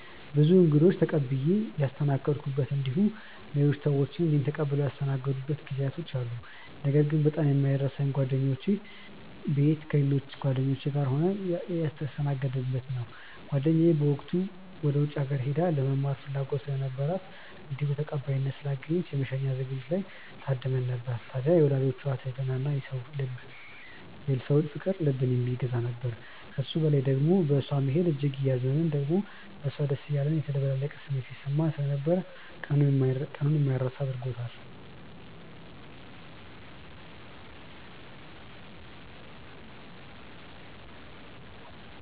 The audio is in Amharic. ብዙ እንግዶችን ተቀብዬ ያስተናገድኩበት እንዲሁም ሌሎች ሰዎች እኔን ተቀብለው ያስተናገዱበት ጊዜያት አሉ። ነገር ግን በጣም የማይረሳኝ ጓደኛዬ ቤት ከሌሎች ጓደኞቼ ጋር ሆነን የተስተናገድነው ነው። ጓደኛዬ በወቅቱ ወደ ውጪ ሀገር ሄዳ ለመማር ፍላጎት ስለነበራት እንዲሁም ተቀባይነት ስላገኘች የመሸኛ ዝግጅቷ ላይ ታድመን ነበር። ታድያ የወላጆቿ ትህትና እና የሰው ፍቅር ልብን የሚገዛ ነበር። ከሱ በላይ ደሞ በእሷ መሄድ እጅግ እያዘንን ደሞም ለሷ ደስ እያለን የተደበላለቀ ስሜት ሲሰማን ስለነበር ቀኑን የማይረሳ አድርጎታል።